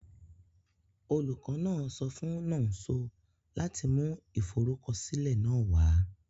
Olukọ náà so fun Nonso lati mu iforukọsilẹ náà wa